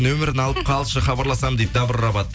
нөмірің алып қалшы хабарласамын дейді дабрабат